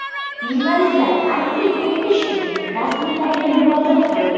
Jurnalistlar aniqlik kiritish uchun rasmiylarga murojaat qildi.